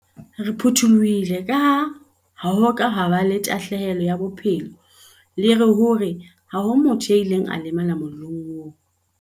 Re phuthulohile kaha ha ho a ba le tahlelo ya bophelo le hore ha ho motho ya ileng a lemala mollong oo.